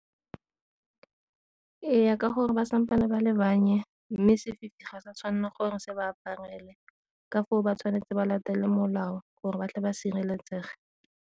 Ee, ka gore ba sampe ba le mme sefifi ga sa tshwanela gore se ba aparele ka foo ba tshwanetse ba latelele molao gore ba tle ba sireletsege.